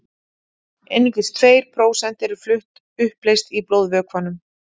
einungis tveir prósent eru flutt uppleyst í blóðvökvanum